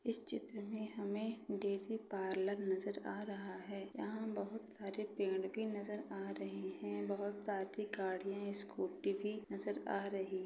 इस चित्र में हमें डेरी पार्लर नजर आ रहा है यहां बहुत सारे पेड़ की नजर आ रहे हैं बहुत साथ ही गाड़ी स्कूटी नजर आ रही--